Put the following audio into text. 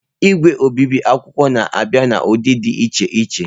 Igwe obibi akwụkwọ na-abịa n'ụdị dị iche iche.